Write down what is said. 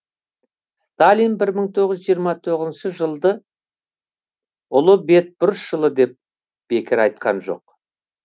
сталин бір мың тоғыз жүз жиырма тоғызыншы жылды ұлы бетбұрыс жылы деп бекер айтқан жоқ